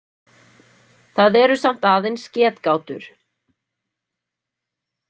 Það eru samt aðeins getgátur.